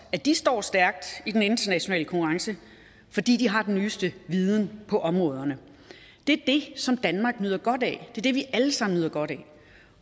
at de står stærkt i den internationale konkurrence fordi de har den nyeste viden på området det er det som danmark nyder godt af det er det vi alle sammen nyder godt af